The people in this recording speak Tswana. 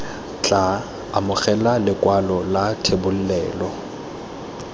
tla amogela lekwalo la thebolelo